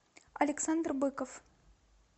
александр быков